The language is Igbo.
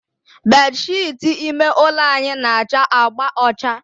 Bedsheetị ime ụlọ anyị na-acha agba ọcha